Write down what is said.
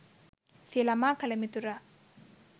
සිය ළමා කල මිතුරා